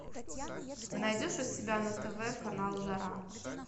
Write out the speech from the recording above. ты найдешь у себя на тв канал жара